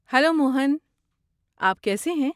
Hello Mohan, آپ کیسے ہیں؟